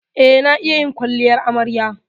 Eh, na iya yin kwalliyar amarya.